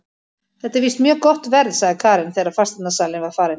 Þetta er víst mjög gott verð, sagði Karen þegar fasteignasalinn var farinn.